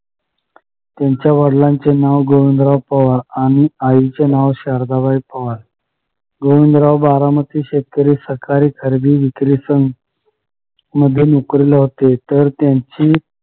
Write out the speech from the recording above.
त्यांच्या वडलांचे नाव गोविंदराव पवार आणि आईचे नाव शारदाबाई पवार गोविंदराव बारामती शेतकरी सहकारी खरेदी विक्री मध्ये नोकरीला होते तर त्यांची